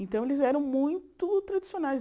Então, eles eram muito tradicionais.